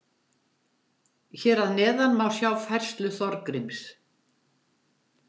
Hér að neðan má sjá færslu Þorgríms.